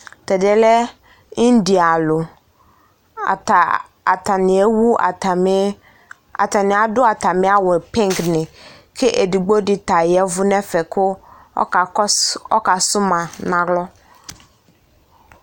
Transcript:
Tʋ ɛdɩ yɛ lɛ indialʋ Ata atanɩ ewu atamɩ atanɩ adʋ atamɩ awʋ yɛ pingnɩ kʋ edigbo dɩ ta ya ɛvʋ nʋ ɛfɛ kʋ ɔkakɔs ɔkasʋ ma nʋ alɔ